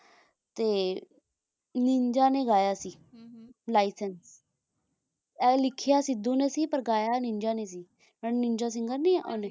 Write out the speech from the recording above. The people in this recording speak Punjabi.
ਤੇ ਨਿੰਜਾ ਨੇ ਗਿਆ ਸੀ ਲਾਈਸੇਂਸ ਆਏ ਲਿਖਿਆ ਸਿੱਧੂ ਨੇ ਸੀ ਤੇ ਗਿਆ ਨਿੰਜਾ ਨੇ ਜਿਹੜਾ ਨਿੰਜਾ ਸਿੰਗਰ ਨਹੀਂ ਹੈ ਓਹਨੇ